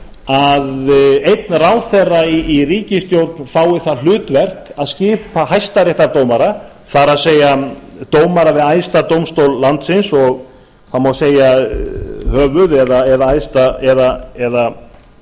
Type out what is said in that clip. að einn ráðherra í ríkisstjórn fái það hlutverk að skipa hæstaréttardómara það er dómara við æðsta dómstól landsins það má segja höfuð eða